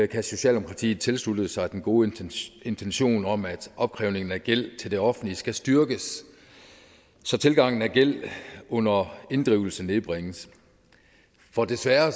kan socialdemokratiet tilslutte sig den gode intention om at opkrævningen af gæld til det offentlige skal styrkes så tilgangen af gæld under inddrivelse nedbringes for desværre